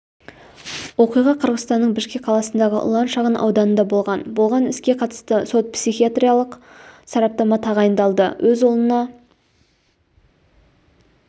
оқиға қырғызстанның бішкек қаласындағы ұлан шағын ауданында болған болған іске қатысты сот-психиатриялық сараптама тағайындалды өз ұлына